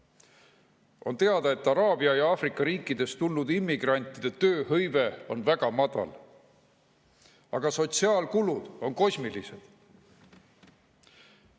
On teada, et araabia ja Aafrika riikidest tulnud immigrantide tööhõive on väga väike, aga sotsiaalkulud on kosmilised.